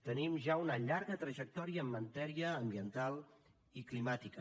tenim ja una llarga trajectòria en matèria ambiental i climàtica